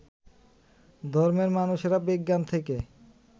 ধর্মের মানুষেরা বিজ্ঞান থেকে